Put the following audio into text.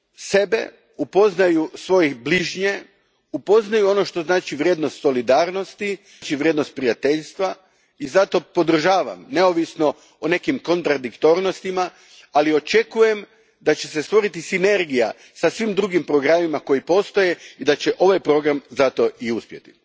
sebe, upoznaju svoje bližnje, upoznaju vrijednost solidarnosti, vrijednost prijateljstva i zato ga podržavam, neovisno o nekim kontradiktornostima, ali očekujem da će se stvoriti sinergija sa svim drugim programima koji postoje i da će ovaj program zato i uspjeti.